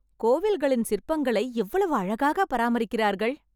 கோவில்களின் சிற்பங்களை எவ்வளவு அழகாக பராமரிக்கிறார்கள்